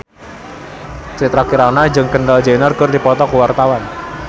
Citra Kirana jeung Kendall Jenner keur dipoto ku wartawan